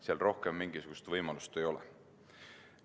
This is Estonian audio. Seal rohkem mingisugust võimalust ei ole.